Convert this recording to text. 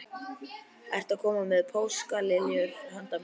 Ertu að koma með páskaliljur handa mér?